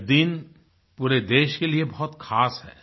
यह दिन पूरे देश के लिए बहुत ख़ास है